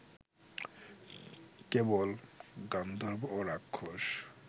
কেবল গান্ধর্ব ও রাক্ষস